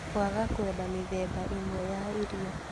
Kwaga kwenda mĩthemba ĩmwe ya irio